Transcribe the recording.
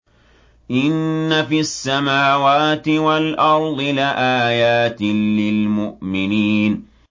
إِنَّ فِي السَّمَاوَاتِ وَالْأَرْضِ لَآيَاتٍ لِّلْمُؤْمِنِينَ